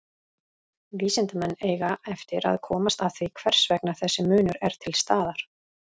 Vísindamenn eiga eftir að komast að því hvers vegna þessi munur er til staðar.